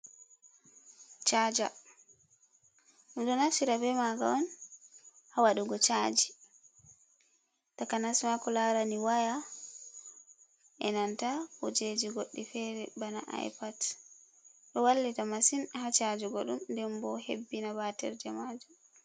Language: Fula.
Caaja ɗum ɗo naftira be maaga on, haa waɗugo caaji, takanas ma ko laarani waya, e nanta kujeji goɗɗi feere, bana ay pat, ɗo wallita masin haa caajugo ɗum, nden bo hebbina baatirje maajum.